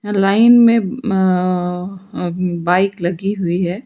Line में अअअ bike लगी हुई है।